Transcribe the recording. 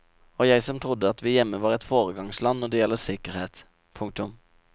Og jeg som trodde at vi hjemme var et foregangsland når det gjelder sikkerhet. punktum